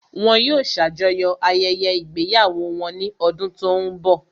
Wọn yóò ṣàjọyọ̀ ayẹyẹ ìgbéyàwó wọn ní ọdún tó ń bọ̀